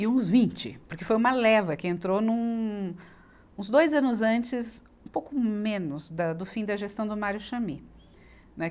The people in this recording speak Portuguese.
E uns vinte, porque foi uma leva que entrou no, uns dois anos antes, um pouco menos, da, do fim da gestão do Mário Chamie, né.